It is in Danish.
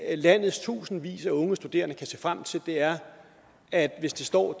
landets tusindvis af unge studerende kan se frem til er at hvis det står